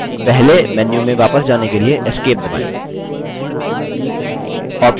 अब पहले मेन्यू में वापस जाने के लिए esc दबाएँ